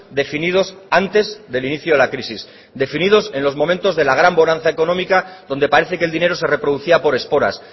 definidos antes del inicio de la crisis definidos en los momentos de la gran bonanza económica donde parece que el dinero se reproducía por esporas